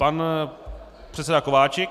Pan předseda Kováčik.